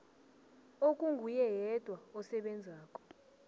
okunguye yedwa osebenzako